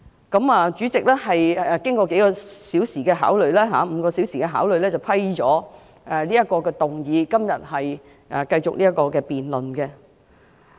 經過數小時——約5小時——的考慮後，主席批准局長提出議案，並在今天繼續就議案進行辯論。